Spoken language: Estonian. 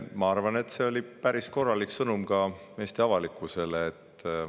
Ma arvan, et see oli päris korralik sõnum Eesti avalikkusele.